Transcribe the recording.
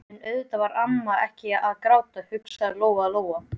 En auðvitað var amma ekkert að gráta, hugsaði Lóa-Lóa.